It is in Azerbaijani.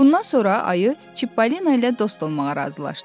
Bundan sonra Ayı Çippolino ilə dost olmağa razılaşdı.